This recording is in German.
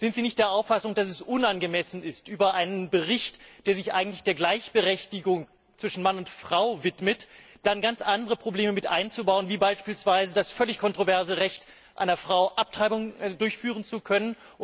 Sind Sie nicht der Auffassung, dass es unangemessen ist, im Rahmen eines Berichts, der sich eigentlich der Gleichberechtigung zwischen Mann und Frau widmet, ganz andere Probleme anzusprechen, wie beispielsweise das völlig kontroverse Recht einer Frau, eine Abtreibung durchführen zu können?